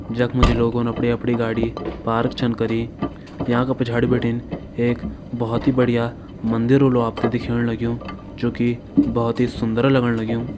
जख्म जी लोगोन अपड़ी-अपड़ी गाडी पार्क छन करी याँ का पिछाड़ी बटिन एक भौत ही बडिया मंदिर होलु आपथे दिखेण लग्यूं जो की भौत ही सुन्दर लगण लग्युं।